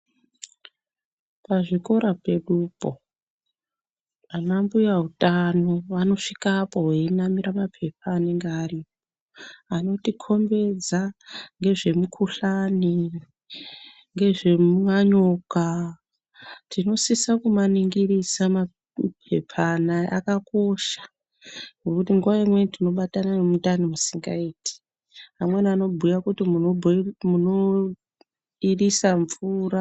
Pazvikora pedupo anambuya utano vanosvikapo veinamira mapepa anenge aripo anotikombedza ngezvemikuhlani ngezvemanyoka. Tinosise kumaningirisa mapepa anaya akakosha. Pamweni tinobatana nemundani musikaiti. Amweni anobhuya kuti munoirisa mvura.